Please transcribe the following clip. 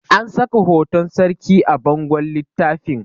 an saka hoton sarki a bangon littafin